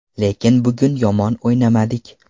Lekin bugun yomon o‘ynamadik.